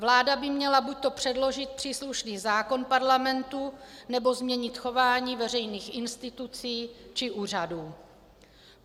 Vláda by měla buďto předložit příslušný zákon Parlamentu, nebo změnit chování veřejných institucí či úřadů.